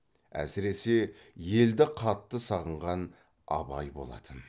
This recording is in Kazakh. әсіресе елді қатты сағынған абай болатын